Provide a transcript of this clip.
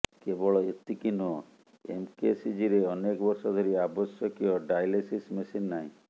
କେବଳ ଏତିକି ନୁହଁ ଏମକେସିଜିରେ ଅନେକ ବର୍ଷ ଧରି ଆବଶ୍ୟକୀୟ ଡାଏଲିସିସ୍ ମେସିନ ନାହିଁ